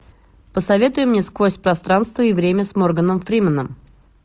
посоветуй мне сквозь пространство и время с морганом фрименом